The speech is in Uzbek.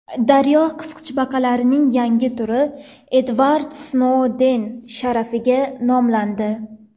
Daryo qisqichbaqalarining yangi turi Edvard Snouden sharafiga nomlandi.